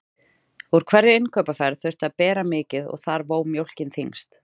Úr hverri innkaupaferð þurfti að bera mikið og þar vó mjólkin þyngst.